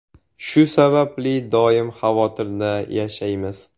Shu sababli doim xavotirda yashaymiz.